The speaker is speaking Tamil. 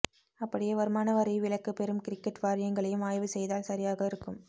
அப்படியே வருமானவரி விலக்கு பெரும் கிரிகெட் வாரியங்களையும் ஆய்வு செய்தால் சரியாக இருக்கும்